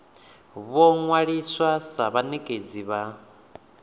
vho ṅwaliswa sa vhanekedzi vha